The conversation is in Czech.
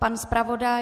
Pan zpravodaj?